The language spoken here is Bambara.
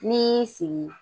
N'i y'i sigi